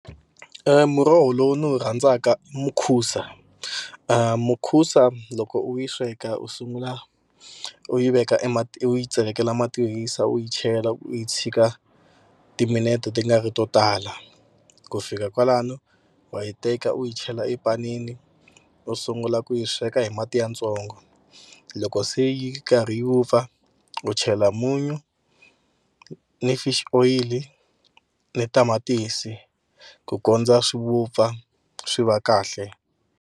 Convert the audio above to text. Muroho lowu ndzi wu rhandzaka i mukhusa. Mukhusa loko u yi sweka u sungula u yi veka e mati u yi tsakela mati yo hisa u yi chela u yi tshika timinete ti nga ri to tala. Ku fika kwalano wa yi teka u yi chela epanini u sungula ku yi sweka hi mati yatsongo loko se yi karhi yi vupfa u chela munyu ni fish oyili ni tamatisi ku kondza swi vupfa swi va kahle.